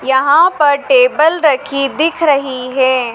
यहां पर टेबल रखी दिख रही है।